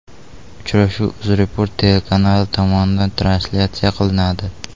Uchrashuv UzReport telekanali tomonidan translyatsiya qilinadi.